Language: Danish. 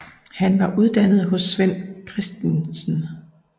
Han var uddannet hos Svend Chr